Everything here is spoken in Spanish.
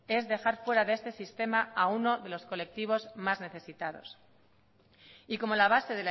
es dejar fuera de este sistema a uno de los colectivos más necesitados y como la base